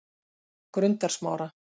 Grundarsmára